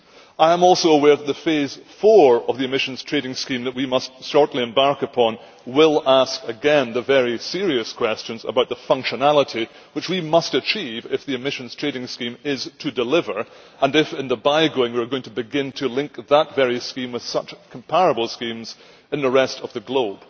I am also aware that the phase 4 of the emissions trading scheme that we must shortly embark upon will again ask very serious questions about the functionality which we must achieve if the emissions trading scheme is to deliver and if in the bygoing we are going to begin to link that scheme with comparable schemes in the rest of the globe.